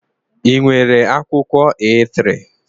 Ị nwere akwụkwọ A3?